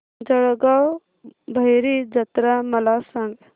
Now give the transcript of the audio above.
जळगाव भैरी जत्रा मला सांग